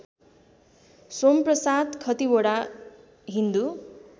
Somprasad Khatiwada Hindu